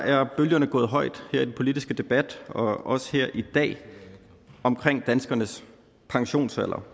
er bølgerne gået højt her i den politiske debat også her i dag om danskernes pensionsalder